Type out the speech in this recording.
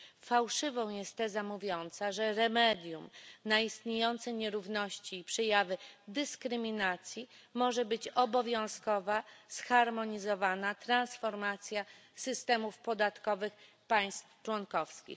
Fałszywą jest teza mówiąca, że remedium na istniejące nierówności i przejawy dyskryminacji może być obowiązkowa zharmonizowana transformacja systemów podatkowych państw członkowskich.